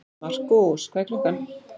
Markús, hvað er klukkan?